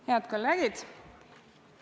Head kolleegid!